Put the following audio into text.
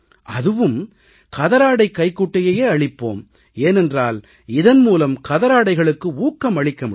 அதுவும் கதராடைக் கைக்குட்டையையே அளிப்போம் ஏனென்றால் இதன்மூலம் கதராடைகளுக்கு ஊக்கம் அளிக்க முடியும்